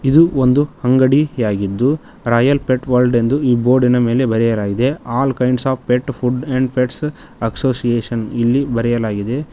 ಇದು ಒಂದು ಅಂಗಡಿಯಾಗಿದ್ದು ರಾಯಲ್ ಪೆಟ್ ವಲ್ದ್ ಎಂದು ಈ ಬೋರ್ಡಿ ನ ಮೇಲೆ ಬರೆಯಲಾಗಿದೆ all kinds of pet food and pets association ಇಲ್ಲಿ ಬರೆಯಲಾಗಿದೆ.